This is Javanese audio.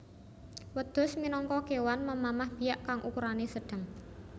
Wêdhus minangka kéwan memamah biak kang ukurané sêdhêng